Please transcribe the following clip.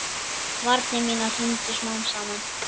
Varnir mínar hrundu smám saman.